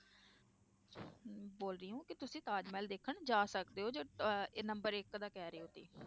ਬੋਲ ਰਹੀ ਹਾਂ ਕਿ ਤੁਸੀਂ ਤਾਜ ਮਹਿਲ ਦੇਖਣ ਜਾ ਸਕਦੇ ਹੋ ਜੋ ਅਹ number ਇੱਕ ਦਾ ਕਹਿ ਰਹੇ ਹੋ ਤੇ